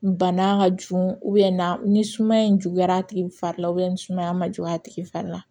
Bana ka jugu na ni sumaya in juguyara a tigi fari la ni sumaya ma juguya a tigi fari la